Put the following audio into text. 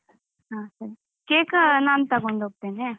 ಹ ಸರಿ cake ನಾನು ತಗೊಂಡ್ ಹೋಗ್ತೇನೆ